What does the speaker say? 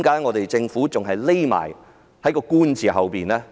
為何政府繼續躲在"官"字之後呢？